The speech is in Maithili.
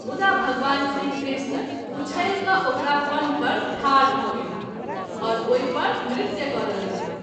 मुदा भगवान श्री कृष्ण उछैल क’ ओकरा फन पर ठाढ भ’ गेलाह आओर ओहि पर नृत्य करय लगलाह।